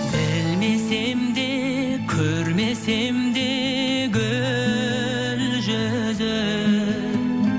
білмесем де көрмесем де гүл жүзін